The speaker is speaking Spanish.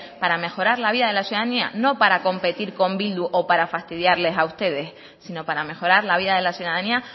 para mejorar la vida de la ciudadanía no para competir con bildu o para fastidiarle a ustedes sino para mejorar la vida de la ciudadanía